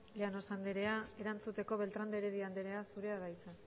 llanos anderea erantzuteko beltrán de heredia anderea zurea da hitza